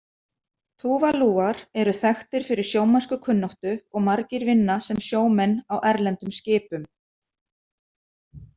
Túvalúar eru þekktir fyrir sjómennskukunnáttu og margir vinna sem sjómenn á erlendum skipum.